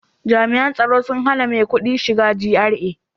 Jami'an tsaro sun hana maikudi shiga GRA